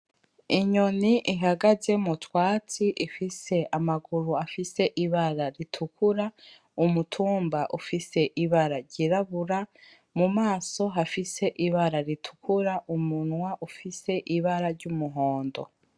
Inyoni ihagaze mu twatsi ifise amaguru afise ibara ritukura, umutumba ufise ibara ry'irabura, mu maso hafise ibara ritukura umunwa ufise ibara ry'umuhondo.